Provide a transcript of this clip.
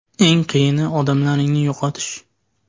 Eng qiyini odamlaringni yo‘qotish.